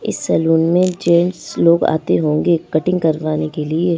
इस सलून में जेंट्स लोग आते होंगे कटिंग करवाने के लिए।